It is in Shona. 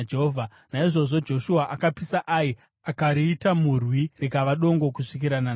Naizvozvo Joshua akapisa Ai akariita murwi, rikava dongo kusvika nanhasi.